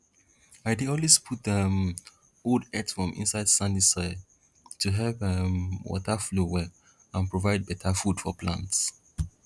i dey always put um old earthworm inside sandy soil to help um water flow well and provide better food for plants